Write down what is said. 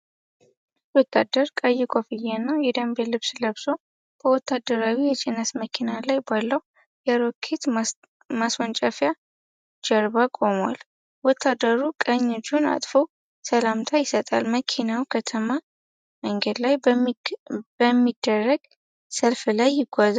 አንድ ወታደር ቀይ ኮፍያና የደንብ ልብስ ለብሶ፣ በወታደራዊ የጭነት መኪና ላይ ባለው የሮኬት ማስወንጨፊያ ጀርባ ቆሟል። ወታደሩ ቀኝ እጁን አጥፎ ሰላምታ ይሰጣል፤ መኪናው በከተማ መንገድ ላይ በሚደረግ ሰልፍ ላይ ይጓዛል።